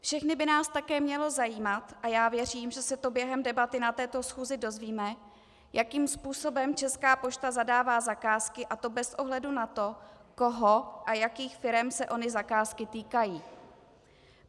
Všechny by nás také mělo zajímat - a já věřím, že se to během debaty na této schůzi dozvíme - jakým způsobem Česká pošta zadává zakázky, a to bez ohledu na to, koho a jakých firem se ony zakázky týkají.